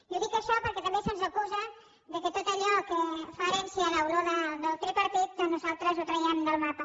i ho dic això perquè també se’ns acusa que tot allò que fa herència olor del tripartit doncs nosaltres ho traiem del mapa